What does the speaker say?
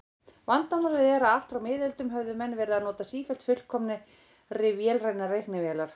Vandamálið er að allt frá miðöldum höfðu menn verið að hanna sífellt fullkomnari vélrænar reiknivélar.